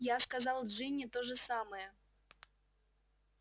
я сказал джинни то же самое